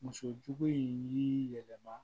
Muso jugu in yɛlɛma